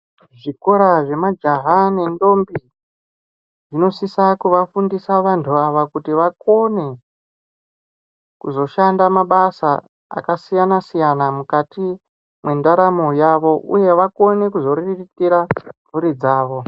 Zvikora zvemajaha nendombi zvinosisa kuvafundisa vandu ava kuti vakone kuzoshanda mabasa akasiyana siyana mukati mwendaramo yavo uye vakone kuzoriritira mhuri dzavo.